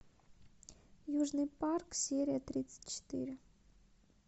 южный парк серия тридцать четыре